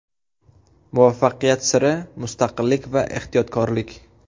Muvaffaqiyat siri: Mustaqillik va ehtiyotkorlik.